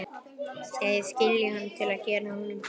Segist skilja hann til að gera honum til geðs.